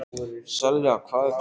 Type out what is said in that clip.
Selja, hvað er klukkan?